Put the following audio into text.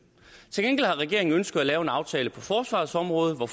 til gengæld har regeringen ønsket at lave en aftale på forsvarets område hvor